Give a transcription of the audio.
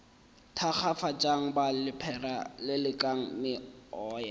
thakgafatšang ba lephera lelekang meoya